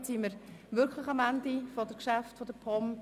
Damit befinden wir uns tatsächlich am Ende der Geschäfte der POM.